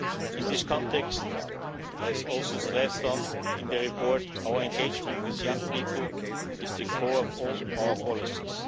In this context, as also stressed in the report, our engagement with young people is the core of all our policies.